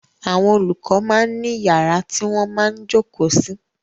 Àwọn olùkọ máa ń ní yàrá tí wọ́n máa ń jókòó sí.